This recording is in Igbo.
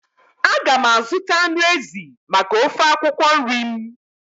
A ga m azụta anụ ezi maka ofe akwụkwọ nri m.